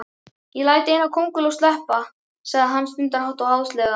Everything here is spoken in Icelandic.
Ég læt eina kónguló sleppa, sagði hann stundarhátt og háðslega.